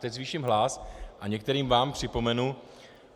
Teď zvýším hlas a některým vám připomenu.